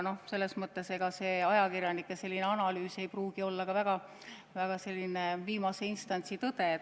Ega ajakirjanike analüüs ei pruugi olla viimase instantsi tõde.